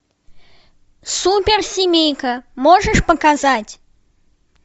суперсемейка можешь показать